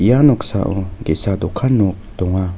ia noksao ge·sa dokan nok donga.